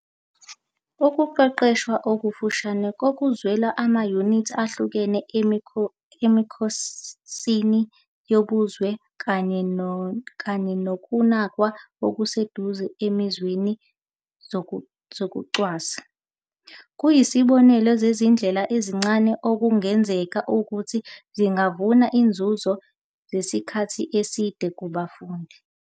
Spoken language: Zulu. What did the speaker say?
Ukuqeqeshwa okufushane kokuzwela, amayunithi ahlukene emikhosini yobuzwe, kanye nokunakwa okuseduze ezimweni zokucwasa, kuyizibonelo zezindlela ezincane, okungenzeka ukuthi zingavuna izinzuzo zesikhathi eside kubafundi.